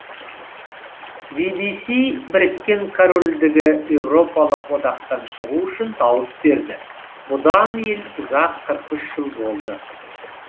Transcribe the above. би би си біріккен корольдігі еуропалық одақтан шығу үшін дауыс берді бұдан ел ұзақ қырық үш жыл болды